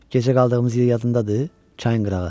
Gecə qaldığımız yer yadındadır, çayın qırağı?